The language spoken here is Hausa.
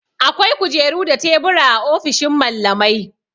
Akwai kujeru da tebura a ofishin mallamai.